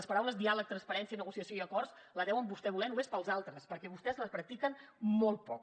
les paraules diàleg transparència negociació i acords les deuen vostès voler només per als altres perquè vostès les practiquen molt poc